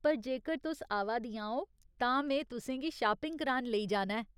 पर जेकर तुस आवा दियां ओ तां में तुसें गी शापिंग करान लेई जाना ऐ ।